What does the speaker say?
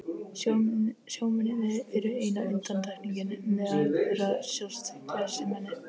Sjómennirnir eru eina undantekningin, meðal þeirra sjást glæsimenni.